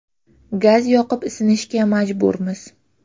Gaz yoqib isinishga majburmiz.